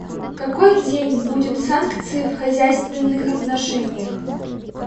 какой день будет санкции в хозяйственных отношениях